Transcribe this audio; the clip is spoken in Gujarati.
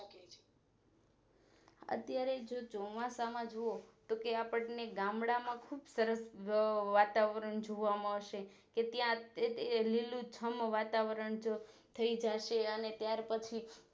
અત્યારે ચોમાસા મો જોવો કે આપણે ગામડાં માં ખુબ સરસ વાતાવરણ જોવા મળશે કે ત્યાં તે લીલુંછમ વાતાવરણ થઈ જાશે અને ત્યાર પછી